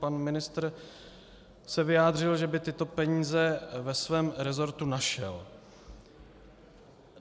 Pan ministr se vyjádřil, že by tyto peníze ve svém rezortu našel.